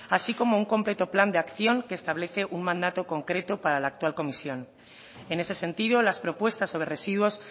así como un completo plan de acción que establece un mandato concreto para la actual comisión en ese sentido las propuestas sobre residuos